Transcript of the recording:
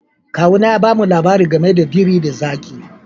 Kawu na ya ba mu labari game da biri da zaki.